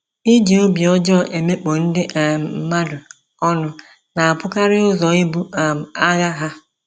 Ị ji obi ọjọọ emekpọ ndị um mmadụ ọnụ na-abụkarị ụzọ ibu um agha ha.